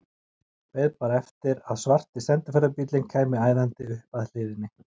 Beið bara eftir að svarti sendiferðabíllinn kæmi æðandi upp að hliðinni.